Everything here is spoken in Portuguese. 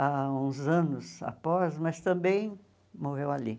há uns anos após, mas também morreu ali.